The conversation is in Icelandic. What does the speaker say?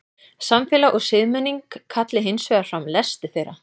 samfélag og siðmenning kalli hins vegar fram lesti þeirra